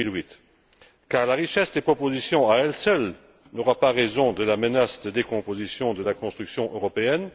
2008. Car la richesse des propositions à elle seule n'aura pas raison de la menace de décomposition de la construction européenne.